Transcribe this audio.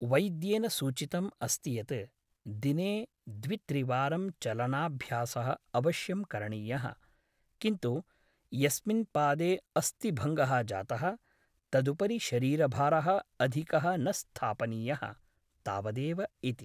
वैद्येन सूचितम् अस्ति यत् दिने द्वित्रिवारं चलनाभ्यासः अवश्यं करणीयः , किन्तु यस्मिन् पादे अस्थिभङ्गः जातः तदुपरि शरीरभारः अधिकः न स्थापनीयः , तावदेव इति ।